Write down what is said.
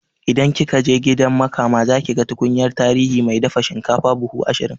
In kikaje gidan makama zakiga tukunyar tarihi mai dafa shinkafa buhu ashirin